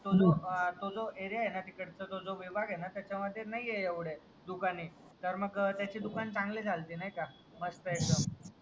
तो जो एरिया आहे ना तिकडचा त्याच्या मध्ये नाहीये एवढे दुकाने तर मग त्याचं दुकानं चांगली चलती नाही का मस्त एकदम